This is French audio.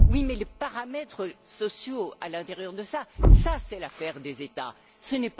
oui, mais les paramètres sociaux à l'intérieur de cela, tout cela est l'affaire des États. Ce n'est pas l'opinion de mon groupe.